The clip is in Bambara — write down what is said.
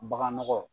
Baganɔgɔ